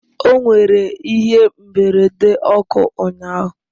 O nwere ihe mberede ọkụ ụnyahụ